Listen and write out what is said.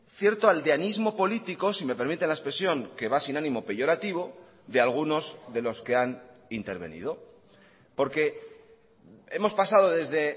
cierto aldeanismo político si me permite la expresión que va sin ánimo peyorativo de algunos de los que han intervenido porque hemos pasado desde